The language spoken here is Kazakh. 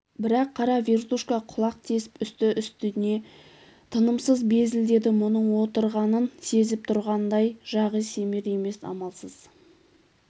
бірақ қара вертушка құлақ тесп үсті-үстіне тынымсыз безілдеді мұның отырғанын сезіп тұрғандай жағы семер емес амалсыз